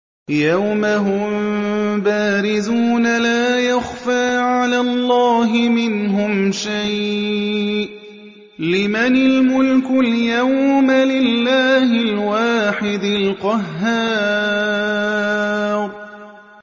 يَوْمَ هُم بَارِزُونَ ۖ لَا يَخْفَىٰ عَلَى اللَّهِ مِنْهُمْ شَيْءٌ ۚ لِّمَنِ الْمُلْكُ الْيَوْمَ ۖ لِلَّهِ الْوَاحِدِ الْقَهَّارِ